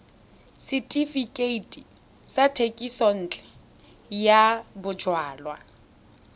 setefikeiti sa thekisontle ya bojalwa